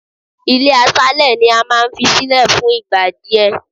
Ilé aṣálẹ̀ ni a máa ń fi sílẹ̀ fún ìgbà díẹ̀.